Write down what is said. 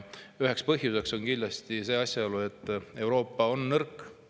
Üks põhjus on kindlasti asjaolu, et Euroopa on nõrk.